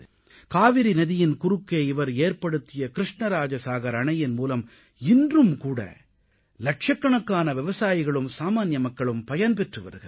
காவிரி நதியின் குறுக்கே இவர் ஏற்படுத்திய கிருஷ்ணராஜ சாகர் அணையின் மூலம் இன்றும் லட்சக்கணக்கான விவசாயிகளும் சாமான்ய மக்களும் பயன் பெற்று வருகிறார்கள்